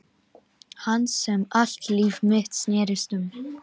Hans sem allt líf mitt snerist um.